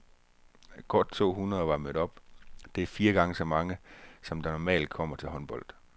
Godt to hundrede var mødt op, det er fire gange så mange, som der normalt kommer til håndbold.